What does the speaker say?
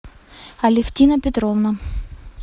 алевтина петровна